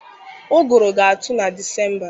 Ụgụrụ ga-atụ na Disemba.